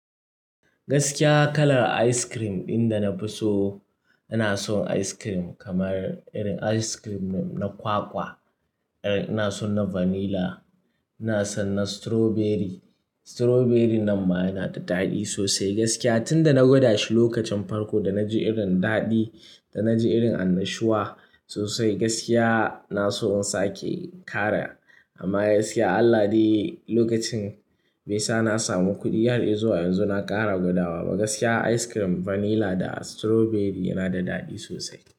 Gaskiya kalar ice cream ɗin da na fi so, ina son ice cream kamar irin ice cream na kwakwa. Irin ina son na vanilla, ina son na strawberry. Strawberry nan ma yana da daɗi sosai gaskiya. Tun da na gwada shi lokacin farko da na ji irin daɗi, da na ji irin annashuwa sosai gaskiya, na so in sake ƙara. Amma gaskiya Allah dai lokacin baisa na samu kuɗi har izuwa yanzu na ƙara gwadawa ba. Gaskiya ice cream vanilla da strawberry yana da daɗi sosai.